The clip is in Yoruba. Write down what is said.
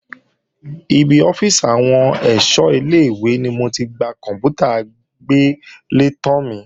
Ibi ọ́fíìsì àwọn ẹ̀ṣọ́ ilé-ìwé ni mo ti gba kòǹpútà agbélétan mi